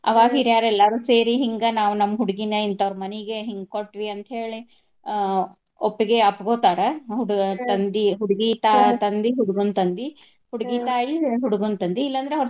ಅವಾಗ ಹೀರ್ಯಾರ ಎಲ್ಲಾರು ಸೇರಿ ಹಿಂಗ ನಾವ ನಮ್ಮ್ ಹುಡ್ಗಿನ ಇಂತವ್ರ ಮನಿಗ ಹಿಂಗ್ ಕೊಟ್ವಿ ಅಂತ ಹೇಳಿ ಆಹ್ ಒಪ್ಪಿಗೆ ಅಪ್ಪಗೊತಾರ ಹುಡ್ಗನ್ ತಂದಿ ಹುಡ್ಗಿ ತಾ~ ತಂದಿ ಹುಡ್ಗನ್ ತಂದಿ ಹುಡ್ಗಿ ತಾಯಿ ಹುಡ್ಗನ್ ತಂದಿ ಇಲ್ಲಾ ಅಂದ್ರ.